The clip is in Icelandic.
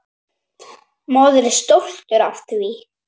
Maður er stoltur af því.